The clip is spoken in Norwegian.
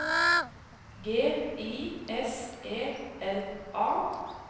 G I S E L A